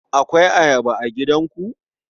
Akwai Ayaba a gidanku?